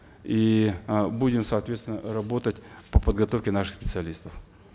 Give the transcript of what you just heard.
и э будем соответственно работать по подготовке наших специалистов